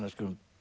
um